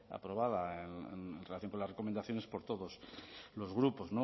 aprobada en relación con las recomendaciones por todos los grupos